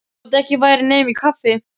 Þótt ekki væri nema í kaffi.